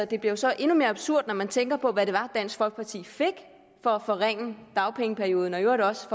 det bliver så endnu mere absurd når man tænker på hvad det var dansk folkeparti fik for at forringe dagpengeperioden og i øvrigt også